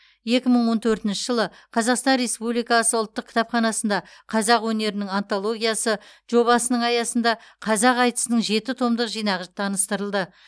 екі мың он төртінші жылы қазақстан республикасы ұлттық кітапханасында қазақ өнерінің антологиясы жобасының аясында қазақ айтысының жеті томдық жинағы таныстырылды